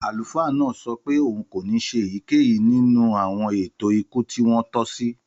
Àlùfáà náà sọ pé òun kò ní ṣe èyíkéyìí nínú àwọn ààtò ikú tí wọ́n tò sí.